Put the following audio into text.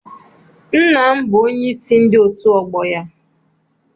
Nna m bụ onyeisi ndị otu ọgbọ ya.